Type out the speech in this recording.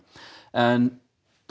en